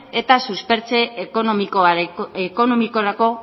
eta suspertze ekonomikorako